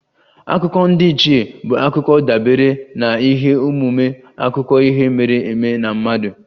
Akụkọ ndiichie bụ akụkọ dabere na ihe omume akụkọ ihe mere eme ma mmadụ